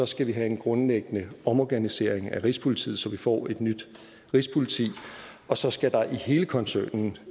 skal vi have en grundlæggende omorganisering af rigspolitiet så vi får et nyt rigspoliti og så skal der jo i hele koncernen